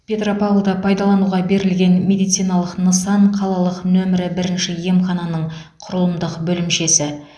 петропавлда пайдалануға берілген медициналық нысан қалалық нөмірі бірінші емхананың құрылымдық бөлімшесі